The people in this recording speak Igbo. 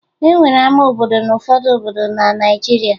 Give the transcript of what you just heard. E nwere ama obodo n'ụfọdụ obodo na Naịjirịa